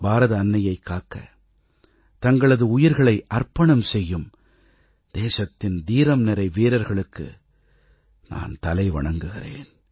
பாரத அன்னையைக் காக்க தங்களது உயிர்களை அர்ப்பணம் செய்யும் தேசத்தின் தீரம் நிறை வீரர்களுக்கு நான் தலை வணங்குகிறேன்